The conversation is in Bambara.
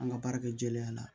An ka baara kɛ jɛlenya la